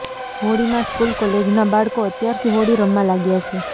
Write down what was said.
હોળીમાં સ્કૂલ કોલેજના બાળકો અત્યારથી હોળી રમવા લાગ્યા છે